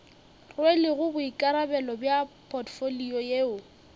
rwelego boikarabelo bja potfolio yeo